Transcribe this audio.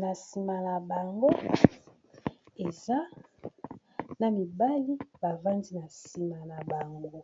Na nsima na bango, eza na mibali ba vandi na nsima na bango.